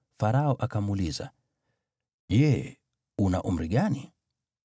Farao akamuuliza, “Je una umri gani?”